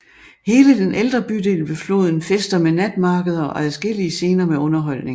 Hele den ældre bydel ved floden fester med natmarkeder og adskillige scener med underholdning